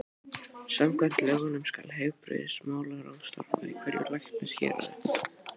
Samkvæmt lögunum skal heilbrigðismálaráð starfa í hverju læknishéraði.